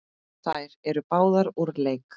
Þær eru báðar úr leik.